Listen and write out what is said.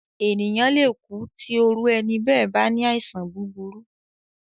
Ènìyàn le kú tí òru ẹni bẹ́ẹ̀ bá ní àìsàn búburú.